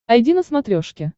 айди на смотрешке